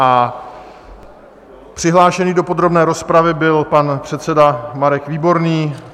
A přihlášený do podrobné rozpravy byl pan předseda Marek Výborný.